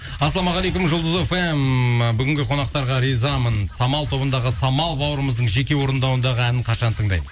ассалаумағалейкум жұлдыз фм і бүгінгі қонақтарға ризамын самал тобындағы самал бауырымыздың жеке орындауындағы әнін қашан тыңдаймыз